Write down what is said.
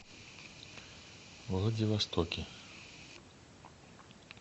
владивостоке